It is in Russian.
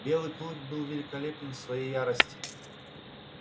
белый клык был великолепен в своей ярости